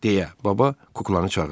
deyə baba kuklanı çağırdı.